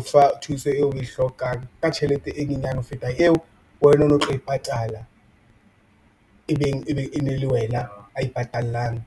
fa thuso eo o e hlokang ka tjhelete e nyenyane ho feta eo wena o no o tlo e patala ebeng e ne le wena a e patallang .